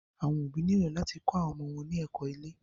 Àwọn òbí nílò láti kó ọmọ wọn ní ẹ̀kó ilé.